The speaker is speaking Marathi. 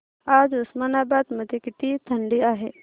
आज उस्मानाबाद मध्ये किती थंडी आहे